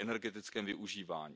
při energetickém využívání.